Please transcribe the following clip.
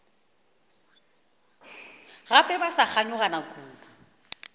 gape ba sa kganyogana kudu